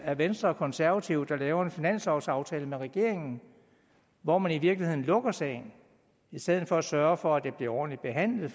er venstre og konservative der laver en finanslovsaftale med regeringen hvor man i virkeligheden lukker sagen i stedet for at sørge for at det bliver ordentligt behandlet